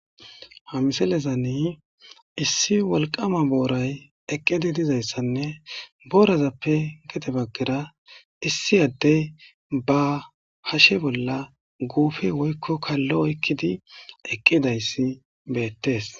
ha misalezani issi walqama booray eqqidi dizayssanne boorazappe gete baggera issi adde ba hashe bolla guufi woykko kallo oykkidi eqqidayssi beettes